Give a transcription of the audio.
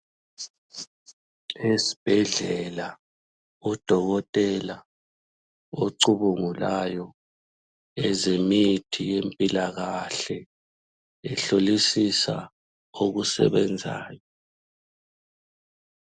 Esibhedlela udokotela ocubungulayo ezemithi yempilakahle ehlolisisa okusebenzayo.